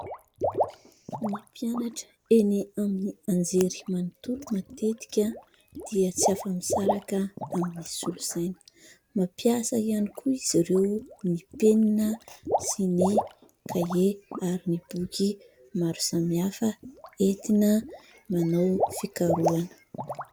Ny mpianatra eny amin'ny anjery manontolo matetika dia tsy afa-misaraka amin'ny solosaina, mampiasa ihany koa izy ireo ny penina sy ny kahie ary ny boky maro samihafa entina manao fikarohana.